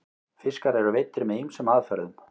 fiskar eru veiddir með ýmsum aðferðum